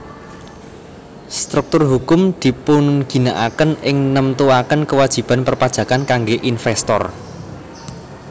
Struktur hukum dipunginaaken ing nemtuaken kewajiban perpajakan kangge investor